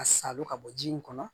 A salo ka bɔ ji in kɔnɔ